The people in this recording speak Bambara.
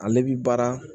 Ale bi baara